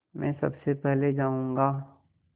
मैं सबसे पहले जाऊँगा